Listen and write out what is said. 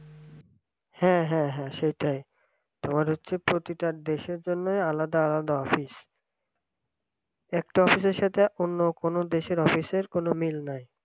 হ্যাঁ হ্যাঁ হ্যাঁ সেটাই তোমার হচ্ছে প্রতিটা দেশের জন্যই আলাদা আলাদা office একটা office র সাথে অন্য কোন দেশের office র কোন মিল নাই